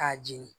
K'a jeni